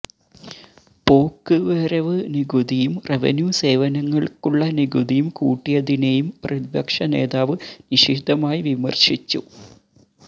പോക്ക് വരവ് നികുതിയും റവന്യു സേവനങ്ങള്ക്കുള്ള നികുതിയും കൂട്ടിയതിനെയും പ്രതിപക്ഷ നേതാവ് നിശിതമായി വിമര്ശിച്ചു